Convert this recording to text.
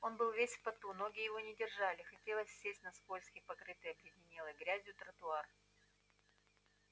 он был весь в поту ноги его не держали хотелось сесть на скользкий покрытый обледенелой грязью тротуар